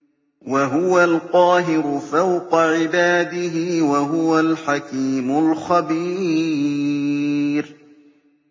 وَهُوَ الْقَاهِرُ فَوْقَ عِبَادِهِ ۚ وَهُوَ الْحَكِيمُ الْخَبِيرُ